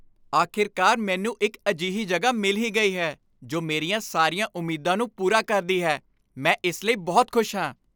ਅਖੀਰਕਾਰ, ਮੈਨੂੰ ਇੱਕ ਅਜਿਹੀ ਜਗ੍ਹਾ ਮਿਲ ਹੀ ਗਈ ਹੈ ਜੋ ਮੇਰੀਆਂ ਸਾਰੀਆਂ ਉਮੀਦਾਂ ਨੂੰ ਪੂਰਾ ਕਰਦੀ ਹੈ ਮੈਂ ਇਸ ਲਈ ਬਹੁਤ ਖੁਸ਼ ਹਾਂ।